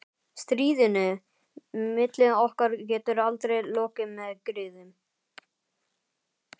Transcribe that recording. Stríðinu milli okkar getur aldrei lokið með griðum.